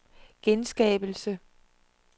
genskabelse